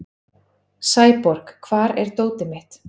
Sæborg, hvar er dótið mitt?